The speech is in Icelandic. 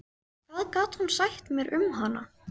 Hvað gat hún sagt mér um hana?